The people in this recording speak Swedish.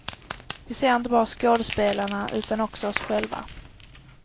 Vi ser inte bara skådespelarna utan också oss själva.